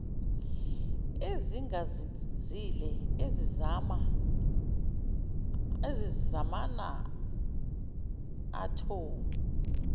ezingazinzile ezinama athomu